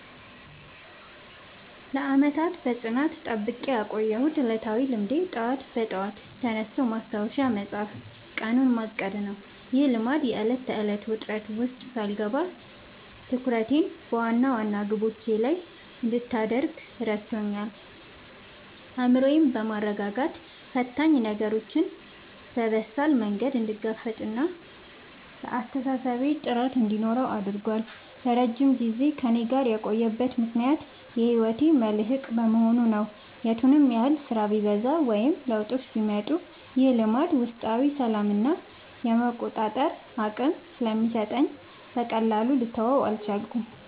ለዓመታት በጽናት ጠብቄ ያቆየሁት ዕለታዊ ልማዴ ጠዋት በጠዋት ተነስቶ ማስታወሻ መጻፍና ቀኑን ማቀድ ነው። ይህ ልማድ የዕለት ተዕለት ውጥረት ውስጥ ሳልገባ ትኩረቴን በዋና ዋና ግቦቼ ላይ እንድታደርግ ረድቶኛል። አእምሮዬን በማረጋጋት ፈታኝ ነገሮችን በበሳል መንገድ እንድጋፈጥና ለአስተሳሰቤ ጥራት እንዲኖረው አድርጓል። ለረጅም ጊዜ ከእኔ ጋር የቆየበት ምክንያት የህይወቴ መልህቅ በመሆኑ ነው። የቱንም ያህል ስራ ቢበዛ ወይም ለውጦች ቢመጡ፣ ይህ ልማድ ውስጣዊ ሰላምና የመቆጣጠር አቅም ስለሚሰጠኝ በቀላሉ ልተወው አልቻልኩም።